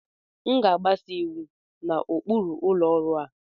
M ga-agbaso iwu na ụkpụrụ ụlọ ọrụ a